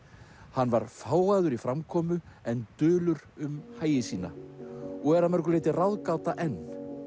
hann var fágaður í framkomu en dulur um hagi sína og er að mörgu leyti ráðgáta enn